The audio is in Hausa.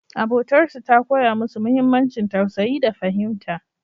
Abotarsu ta koya musu muhimmancin tausayi da fahimta.